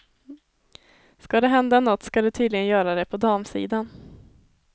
Skall det hända nåt skall det tydligen göra det på damsidan.